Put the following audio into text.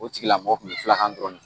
O tigilamɔgɔ kun bɛ fulakan dɔrɔn de